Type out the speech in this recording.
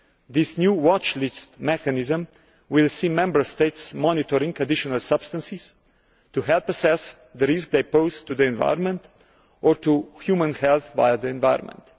This new watchlist mechanism will see Member States monitoring additional substances to help assess the risk they pose to the environment or to human health via the environment.